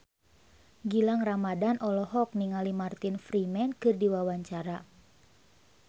Gilang Ramadan olohok ningali Martin Freeman keur diwawancara